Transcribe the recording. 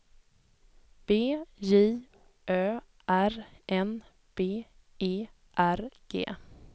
B J Ö R N B E R G